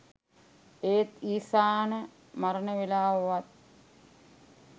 ඒත් රිසාන මරණ වෙලාව වත්